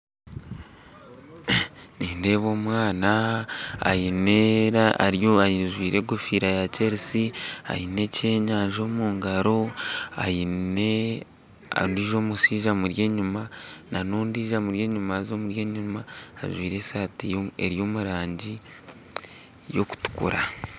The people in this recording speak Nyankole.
Nindeeba omwana aine ajwaire enkofiira ya Chelsea aine ekyenyanja omu ngaro aine ondiijo mushaija amuri enyima n'ondiijo amuri enyima haza amuri enyuma ajwaire esaati eri omu rangi erikutukura